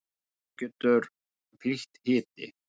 þessu getur fylgt hiti